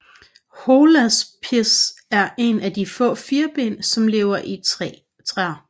Holaspis er en af de få firben som lever i træer